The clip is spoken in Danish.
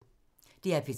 DR P3